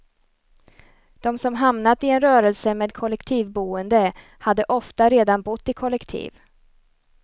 De som hamnat i en rörelse med kollektivboende hade ofta redan bott i kollektiv.